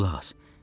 Qulaq as.